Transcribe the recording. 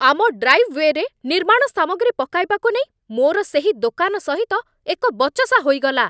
ଆମ ଡ୍ରାଇଭ୍ ୱେରେ ନିର୍ମାଣ ସାମଗ୍ରୀ ପକାଇବାକୁ ନେଇ ମୋର ସେହି ଦୋକାନ ସହିତ ଏକ ବଚସା ହୋଇଗଲା